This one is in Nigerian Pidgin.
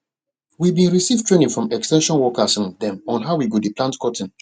we bin receive training from ex ten sion workers um dem on how we go dey plant cotton